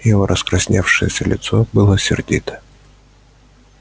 его раскрасневшееся лицо было сердито